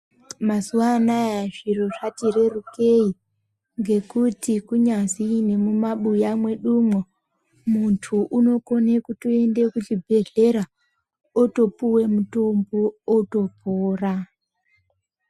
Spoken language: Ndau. Mazuwa anaya zviro zvati rerukei ngekuti kunyazi nemumabuya mwedumwo muntu unokone kutoende kuchibhedhleya otopuwe mutombo otopora.